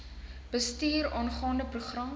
bestuur aangaande program